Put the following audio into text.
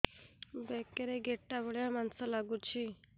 ବେକରେ ଗେଟା ଭଳିଆ ମାଂସ ଲାଗୁଚି